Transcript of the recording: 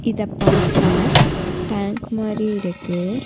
இத பாக்க டேங்க் மாறி இருக்கு.